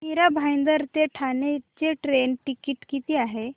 मीरा भाईंदर ते ठाणे चे train ticket किती आहे